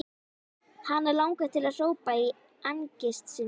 Hana langar til að hrópa í angist sinni.